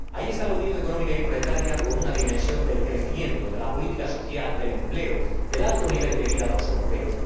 Ahí está la Unión Económica y Monetaria, con una dimensión de crecimiento, de política social, de empleo, de alto nivel de vida de los europeos.